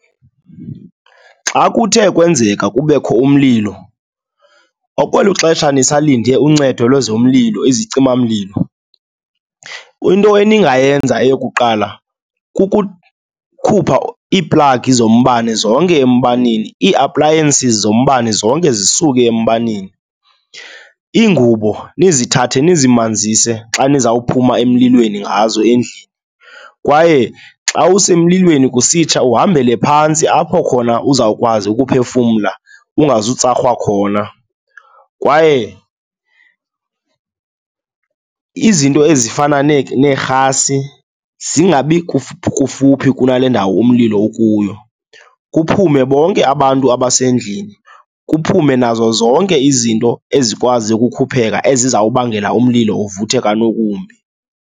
Xa kuthe kwenzeka kubekho umlilo, okweli xesha nisalinde uncedo lwezomlilo, izicimamlilo, into eningayenza eyokuqala kukukhupha iiplagi zombane zonke embaneni, ii-appliances zombane zonke zisuke embaneni. Iingubo nizithathe nizimanzise xa nizawuphuma emlilweni ngazo endlini kwaye xa usemlilweni kusitsha, uhambele phantsi apho khona uzawukwazi ukuphefumla, ungazutsarhwa khona. Kwaye izinto ezifana iirhasi zingabi kufuphi kunale ndawo umlilo okuyo, kuphume bonke abantu abasendlini, kuphume nazo zonke izinto ezikwazi ukhupheka ezi zawubangela umlilo uvuthe kanokumbi.